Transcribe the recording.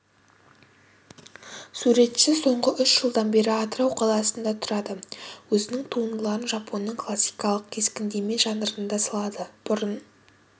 суретші соңғы үш жылдан бері атырау қаласында тұрады өзінің туындыларын жапонның классикалық кескіндеме жанрында салады бұрын